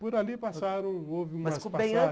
Por ali passaram, houve umas